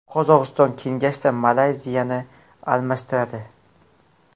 Qozog‘iston kengashda Malayziyani almashtiradi.